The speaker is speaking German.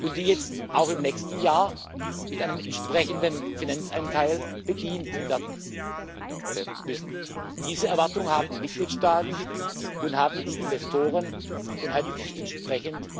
und die jetzt auch im nächsten Jahr mit einem entsprechenden Finanzanteil bedient werden müssen. Diese Erwartung haben die Mitgliedstaaten, haben die Investoren und hat die entsprechend